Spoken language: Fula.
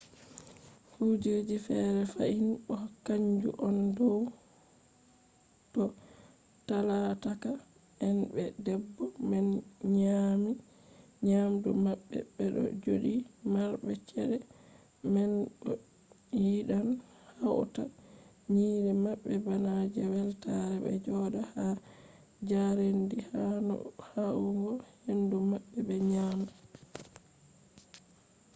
kuje fere fahin bo kanju on dow to talaka en be debbo man nyami nyamdu maɓɓe ɓeɗo joɗi marɓe cede man bo yiɗan hauta nyiiri maɓɓe bana je weltare ɓe joɗa ha jarendi yahugo hendu maɓɓe ɓe nyama